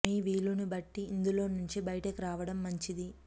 మీ వీలు ని బట్టి ఇందులో నుంచి బయటకు రావడం మంచిది